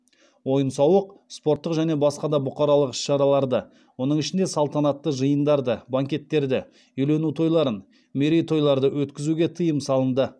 ойын сауық спорттық және басқа да бұқаралық іс шараларды оның ішінде салтанатты жиындарды банкеттерді үйлену тойларын мерейтойларды өткізуге тыйым салынды